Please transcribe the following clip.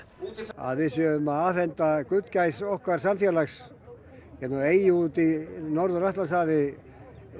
að við séum að afhenda gullgæs okkar samfélags eyju út í Atlantshafi